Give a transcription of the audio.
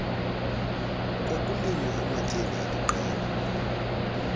kokulinywa amatyeli aliqela